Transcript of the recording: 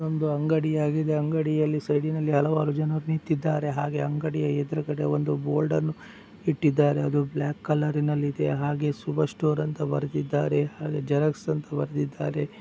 ಒಂದು ಅಂಗಡಿಯಾಗಿದೆ ಅಂಗಡಿ ಅಲ್ಲಿ ಸೈಡ್ ನಲ್ಲಿ ಹಲವಾರು ಜನರು ನಿಂತಿದ್ದಾರೆ. ಹಾಗೆ ಅಂಗಡಿಯ ಎದುರುಗಡೆ ಒಂದು ಬೋರ್ಡ್ ಅನ್ನು ಇಟ್ಟಿದ್ದಾರೆ ಅದು ಬ್ಲಾಕ್ ಕಲರ್ ನಲ್ಲಿ ಇದೆ ಹಾಗೆ ಶುಭ ಸ್ಟೋರ್ ಅಂತ ಬರ್ದಿದ್ದಾರೆ ಹಾಗೆ ಜೆರಾಕ್ಸ್ ಅಂತ ಬರ್ದಿದ್ದಾರೆ.